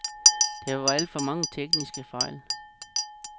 Der var alt for mange tekniske fejl.